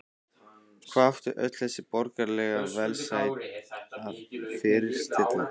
Hvað átti öll þessi borgaralega velsæld að fyrirstilla?